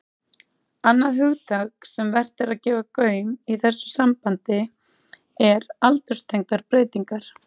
Annað hugtak sem vert er að gefa gaum í þessu sambandi er aldurstengdar breytingar.